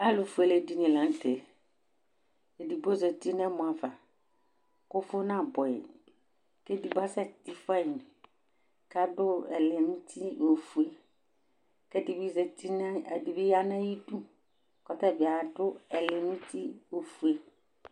ɛtʊfue alʊɛdɩnɩ lanʊtɛ, edigbo zati nʊ utuvegele ava, kʊ ʊvʊ nabʊɛ yi, kʊ edigbo asɛ ti fua yi, kʊ adʊ ɛlɛnuti ofue, kʊ edɩbɩ ya nʊ ay'idu kʊ ɔtabɩ adʊ ɛlɛnuti ofue